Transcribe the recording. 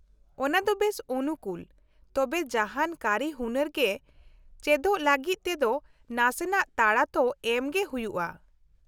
ᱚᱱᱟ ᱫᱚ ᱵᱮᱥ ᱚᱱᱩᱠᱩᱞ ᱛᱚᱵᱮ ᱡᱟᱦᱟᱱ ᱠᱟᱹᱨᱤᱦᱩᱱᱟᱹᱨ ᱜᱮ ᱪᱮᱫᱚᱜ ᱞᱟᱹᱜᱤᱫ ᱛᱮᱫᱚ ᱱᱟᱥᱮᱱᱟᱜ ᱛᱟᱲᱟ ᱛᱚ ᱮᱢ ᱜᱮ ᱦᱩᱭᱩᱜᱼᱟ ᱾